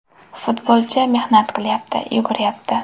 Futbolchi mehnat qilyapti, yuguryapti.